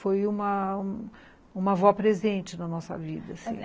Foi uma...uma avó presente na nossa vida.